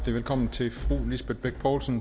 også